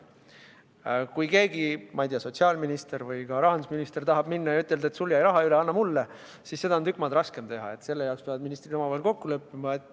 Kui keegi, näiteks sotsiaalminister või rahandusminister, tahab minna ja ütelda, et sul jäi raha üle, anna see mulle, siis seda on tükk maad raskem teha, selle peavad ministrid omavahel kokku leppima.